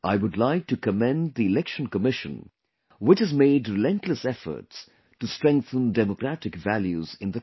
I would like to commend the Election Commission, which has made relentless efforts to strengthen democratic values in the country